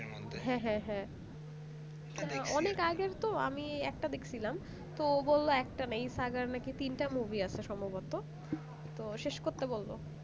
হ্যাঁ হ্যাঁ হ্যাঁ অনেক আগের তো আমি একটা দেখছিলাম তো ও বললো একটা না এই সাগর নাকি তিনটা movie আছে সম্ভবত তো শেষ করতে বললো